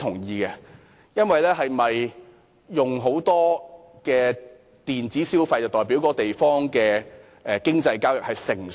一個地方大量使用電子消費，是否就表示該地方的經濟交易成熟？